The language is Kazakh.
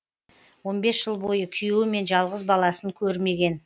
он бес жыл бойы күйеуі мен жалғыз баласын көрмеген